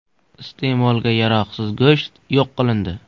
Iste’molga yaroqsiz go‘sht yo‘q qilindi.